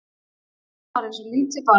Milla var eins og lítið barn.